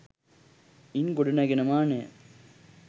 ඉන් ගොඩ නැගෙන මානය